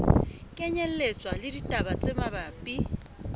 kenyelletswa le ditaba tse mabapi